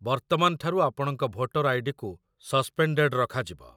ବର୍ତ୍ତମାନ ଠାରୁ ଆପଣଙ୍କ ଭୋଟର ଆଇ.ଡି.କୁ ସସ୍‌ପେନ୍‌ଡେଡ଼୍ ରଖାଯିବ